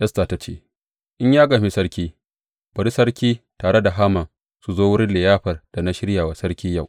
Esta ta ce, In ya gamshi sarki, bari sarki, tare da Haman su zo wurin liyafar da na shirya wa sarki yau.